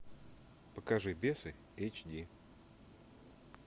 покажи бесы эйч ди